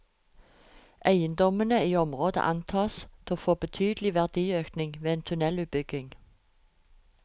Eiendommene i området antas å få betydelig verdiøkning ved en tunnelutbygging.